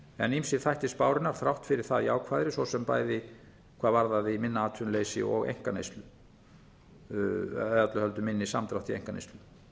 en ýmsir þættir spárinnar þrátt fyrir það jákvæðari svo sem bæði hvað varðaði minna atvinnuleysi og minni samdrátt í einkaneyslu